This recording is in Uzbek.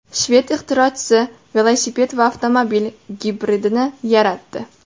Shved ixtirochisi velosiped va avtomobil gibridini yaratdi .